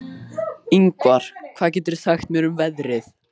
Yngvar, hvað geturðu sagt mér um veðrið?